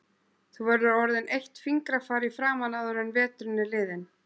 Þú verður orðin eitt fingrafar í framan áður en veturinn er liðinn